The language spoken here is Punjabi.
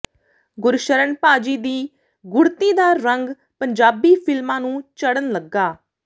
ਗੁਰਸ਼ਰਨ ਭਾਅ ਜੀ ਦੀ ਗੁੜ੍ਹਤੀ ਦਾ ਰੰਗ ਪੰਜਾਬੀ ਫ਼ਿਲਮਾਂ ਨੂੰ ਚੜ੍ਹਨ ਲੱਗਾ